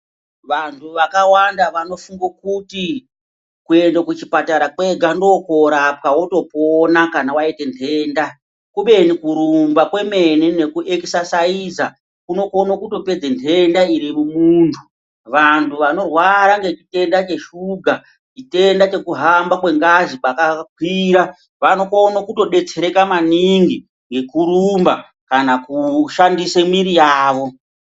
Wanhu wakawanda wanofunga kuti kuenda kuchipatara kwega ndokworapwa wotopona kana waite nhenda kubeni kurumba kwemene neku ekisaiza kunokone kutopedze nhenda iri mumundu, wanhu wanorwara ngechitenda cheshuga, chitenda chekuhamba kwengazi pakakwira kunokone kutobetsereka maningi ngekurumba kana kushandise mwiri yawo.